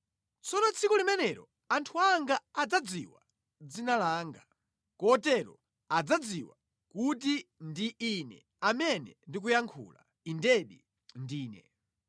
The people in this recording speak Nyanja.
Tsono tsiku limenelo anthu anga adzadziwa dzina langa; kotero adzadziwa kuti ndi Ine amene ndikuyankhula, Indedi, ndine.”